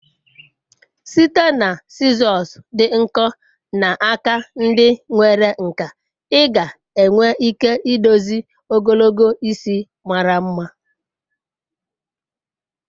Site na sizosị dị nkọ na aka ndi nwere nkà, ị ga-enwe ike idozi ogologo isi mara mma.